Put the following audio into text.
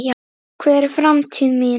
Hver er framtíð mín?